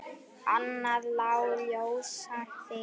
Annað lá ljósar fyrir.